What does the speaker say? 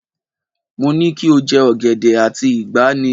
Mo ní kí o jẹ ọ̀gẹ̀dẹ̀ àti ìgbà ní!